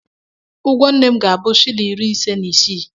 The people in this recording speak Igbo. Ụgwọ nne m ga-abụ shịlịn iri ise na isii.